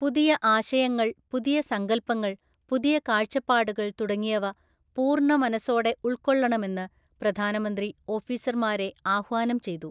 പുതിയആശയങ്ങള്‍, പുതിയസങ്കല്പങ്ങള്‍, പുതിയകാഴ്ചപ്പാടുകള്‍ തുടങ്ങിയവ പൂര്‍ണ മനസ്സോടെ ഉള്‍ക്കൊള്ളണമെന്ന് പ്രധാനമന്ത്രി ഓഫീസര്മാരെ ആഹ്വാനം ചെയ്തു.